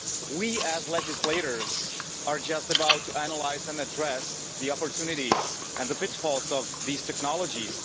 We, as legislators, are just about to analyse and address the opportunities and the pitfalls of these technologies.